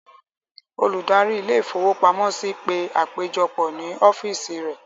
Olùdarí ilé-ìfowópamọ́sí pe àpéjọpọ̀ ní ọ́físì rẹ̀.